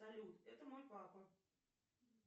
салют это мой папа